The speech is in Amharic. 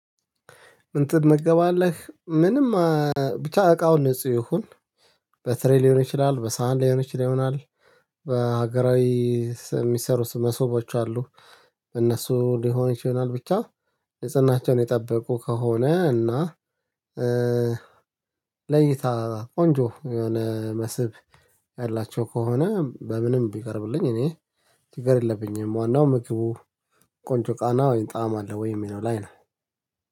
ምን ትመገባለ? ምንም ብቻ እቃው ንጹህ ይሁን። በትሬ ሊሆን ይችላል፤ በሳህን ሊሆን ይችላል በሀገራዊ የሚሰሩ ስም መሶቦች አሉ። እነሱ ሊሆን ይችላ፤ ብቻ ንጽህናቸውን የጠበቁ ከሆነ እና ለይታ ቆንጆ የሆነ መስብ ያላቸው ከሆነ፣ በምንም ቢቀርብልኝ እኔ ችግር የለብኝም። ዋናው ምክቡ ቆንጆ ቃና ወይን ጣዕም አለ ወይ የሚለው ላይ ነው